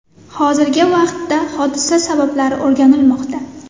Hozirgi vaqtda hodisa sabablari o‘rganilmoqda.